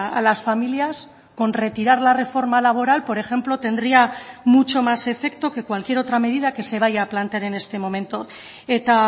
a las familias con retirar la reforma laboral por ejemplo tendría mucho más efecto que cualquier otra medida que se vaya a plantear en este momento eta